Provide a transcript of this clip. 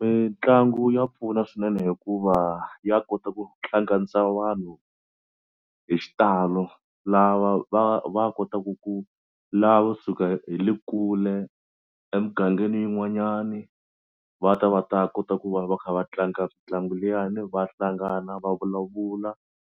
Mitlangu ya pfuna swinene hikuva ya kota ku hlanganisa vanhu hi xitalo lava va va kotaku ku lavo suka hi le kule emugangeni yin'wanyani va ta va ta kota ku va va kha va tlanga mitlangu liyani va hlangana va vulavula